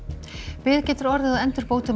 bið getur orðið á endurbótum á